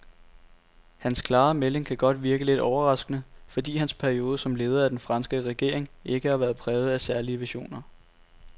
Hans klare melding kan godt virke lidt overraskende, fordi hans periode som leder af den franske regering ikke har været præget af særlige visioner.